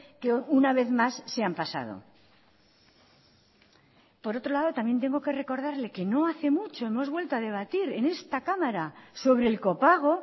que una vez más se han pasado por otro lado también tengo que recordarle que no hace mucho hemos vuelto a debatir en esa cámara sobre el copago